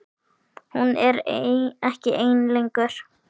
Hún er ekki ein lengur.